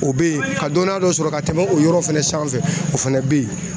O bɛ yen, ka dɔnniya dɔ sɔrɔ ka tɛmɛ o yɔrɔ fana sanfɛ, o fɛnɛ bɛ yen